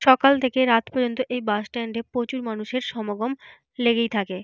সকাল থেকে রাত পর্যন্ত এই বাস স্ট্যান্ড এ প্রচুর মানুষের সমাগম লেগেই থাকে।